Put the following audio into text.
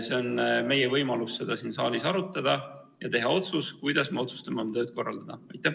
Meil on võimalus seda siin saalis arutada ja teha otsus, kuidas me oma tööd korraldame.